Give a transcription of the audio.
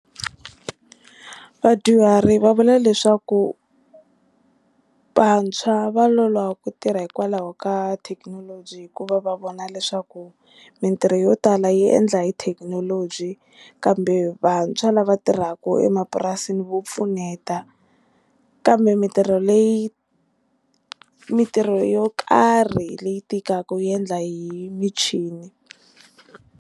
Vadyuhari va vula leswaku vantshwa va loloha ku tirha hikwalaho ka thekinoloji hikuva va vona leswaku mintirho yo tala yi endla hi thekinoloji kambe vantshwa lava tirhaka emapurasini vo pfuneta kambe mintirho leyi mintirho yo karhi leyi tikaka yi endla hi michini.